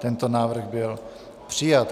Tento návrh byl přijat.